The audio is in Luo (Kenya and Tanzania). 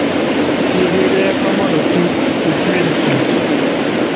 Ti gi rieko mondo kik ichwiny kich